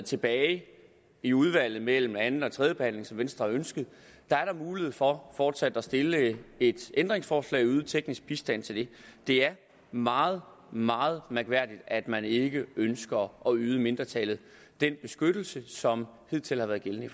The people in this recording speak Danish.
tilbage i udvalget mellem anden og tredje behandling som venstre har ønsket er mulighed for fortsat at stille et ændringsforslag og yde teknisk bistand til det det er meget meget mærkværdigt at man ikke ønsker at yde mindretallet den beskyttelse som hidtil har været gældende